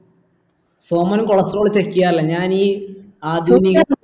Soman cholestrol check ചെയ്യാറില്ല ഞാൻ ഈ ആധുനി